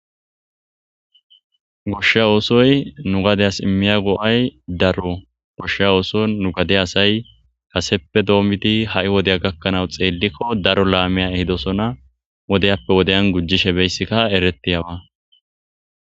goshsha oosoy nu gadey as immiya go7ay daro goshsha ooso nu gade asay kaseppe doommiti ha7i wodeya gakkanau xeellikko daro laamiya ehidosona wodeyappe wodeyan gujjishe beyssikka erettiyawa